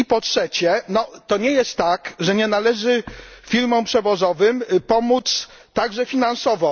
I po trzecie, to nie jest tak, że nie należy firmom przewozowym pomóc także finansowo.